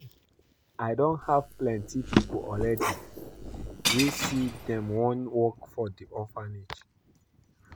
I don have plenty people already wey say dem wan work for the orphange